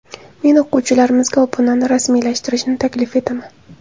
Men o‘quvchilarimizga obunani rasmiylashtirishni taklif etaman.